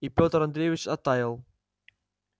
и петр андреевич оттаял